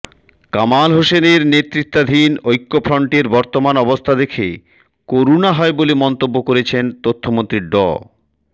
কামাল হোসেনের নেতৃত্বাধীন ঐক্যফ্রন্টের বর্তমান অবস্থা দেখে করুণা হয় বলে মন্তব্য করেছেন তথ্যমন্ত্রী ড